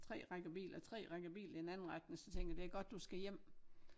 3 rækker biler 3 rækker biler i den anden retning så tænker jeg det er godt du skal hjem